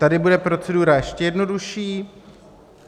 Tady bude procedura ještě jednodušší.